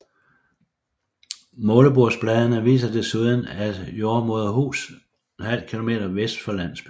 Målebordsbladene viser desuden et jordemoderhus ½ km vest for landsbyen